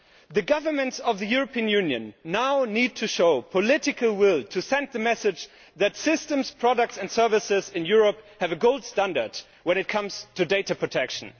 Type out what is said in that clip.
The governments of the European Union now need to show the political will to send the message that systems, products and services in Europe have a gold standard when it comes to data protection.